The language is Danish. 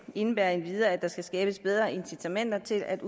indebærer endvidere at der skal skabes bedre incitamenter til at